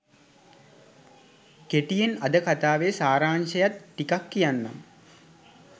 කෙටියෙන් අද කතාවේ සාරාංශයත් ටිකක් කියන්නම්.